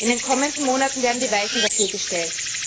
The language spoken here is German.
In den kommenden Monaten werden die Weichen dafür gestellt.